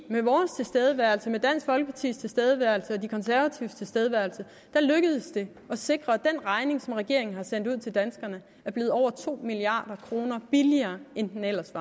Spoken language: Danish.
med vores tilstedeværelse med dansk folkepartis tilstedeværelse og de konservatives tilstedeværelse lykkedes det at sikre at den regning som regeringen har sendt ud til danskerne er blevet over to milliard kroner billigere end den ellers